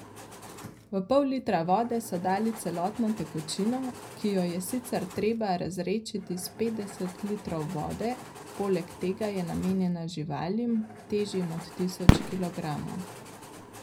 V pol litra vode so dali celotno tekočino, ki jo je sicer treba razredčiti s petdeset litrov vode, poleg tega je namenjena živalim, težjim od tisoč kilogramov.